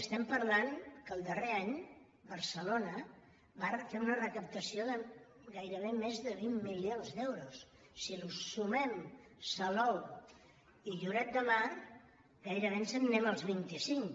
estem parlant que el darrer any barcelona va fer una recaptació de gairebé més de vint milions d’euros si hi sumem salou i lloret de mar gairebé ens n’anem als vint cinc